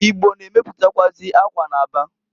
Igbo na-emeputakwụazị akwa n'Aba.